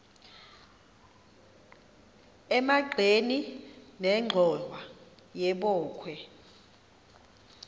emagxeni nenxhowa yebokhwe